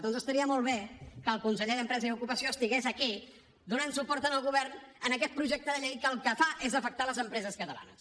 doncs estaria molt bé que el conseller d’empresa i ocupació estigués aquí donant suport al govern en aquest projecte de llei que el que fa és afectar les empreses catalanes